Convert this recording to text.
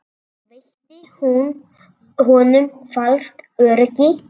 Veitti hún honum falskt öryggi?